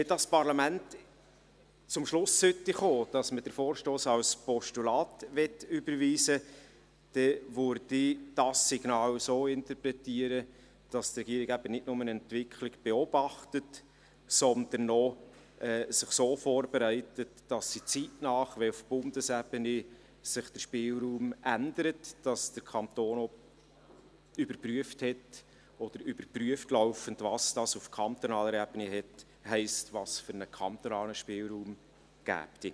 Wenn dieses Parlament zum Schluss kommen sollte, dass man den Vorstoss als Postulat überweisen möchte, dann würde ich dieses Signal so interpretieren, dass die Regierung eben nicht nur eine Entwicklung beobachtet, sondern sich so vorbereitet, dass sie, wenn sich der Spielraum auf Bundesebene ändert, zeitnah laufend überprüft, was dies auf kantonaler Ebene heisst und welchen kantonalen Spielraum es gäbe.